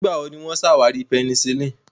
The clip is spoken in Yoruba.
Nígbà wo ni wọ́n ṣàwárí penicillin?